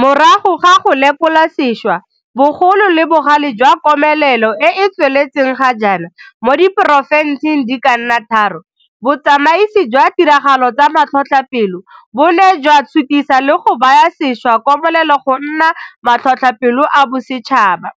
Morago ga go lekolasešwa bogolo le bogale jwa komelelo e e tsweletseng ga jaana mo diporofenseng di ka nna tharo, botsamaisi jwa ditiragalo tsa matlhotlhapelo bo ne jwa sutisa le go baya sešwa komelelo go nna matlhotlhapelo a bosetšhaba,